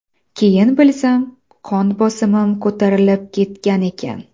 Keyin bilsam, qon bosimim ko‘tarilib ketgan ekan.